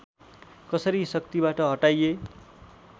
कसरी शक्तिबाट हटाइए